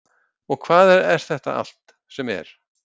Og hvað er þetta allt sem er?